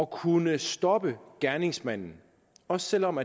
kunne stoppe gerningsmanden også selv om